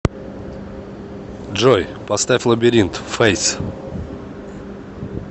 джой поставь лабиринт фэйс